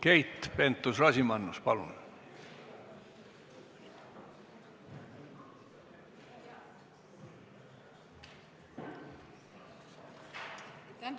Keit Pentus-Rosimannus, palun!